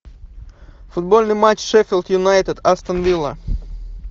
футбольный матч шеффилд юнайтед астон вилла